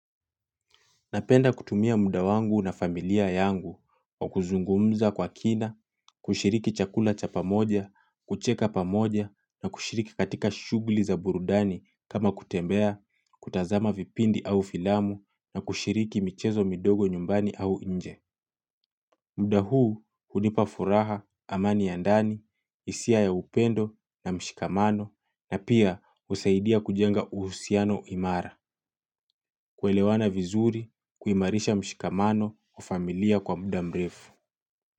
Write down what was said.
Napenda kutumia muda wangu na familia yangu kwa kuzungumza kwa kina, kushiriki chakula cha pamoja, kucheka pamoja na kushiriki katika shughuli za burudani kama kutembea, kutazama vipindi au filamu na kushiriki michezo midogo nyumbani au nje. Muda huu hudipa furaha amani ya ndani, hisia ya upendo na mshikamano na pia usaidia kujenga uhusiano imara kuelewana vizuri kuimarisha mshikamano kwa familia kwa muda mrefu.